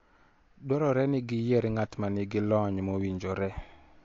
Dwarore ni giyier ng'at ma nigi lony mowinjore.